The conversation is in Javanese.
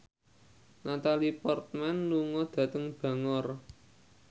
Natalie Portman lunga dhateng Bangor